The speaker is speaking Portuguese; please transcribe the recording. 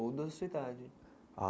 Ou da sua idade? Ah